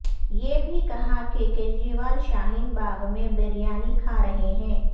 یہ بھی کہا کہ کیجریوال شاہین باغ میں بریانی کھا رہے ہیں